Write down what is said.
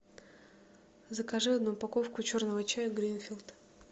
закажи одну упаковку черного чая гринфилд